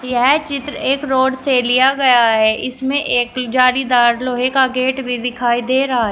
यह चित्र एक रोड से लिया गया है इसमें एक जाली दार लोहे का गेट भी दिखाई दे रहा है।